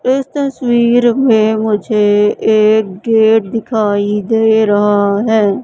इस तस्वीर में मुझे एक गेट दिखाई दे रहा हैं।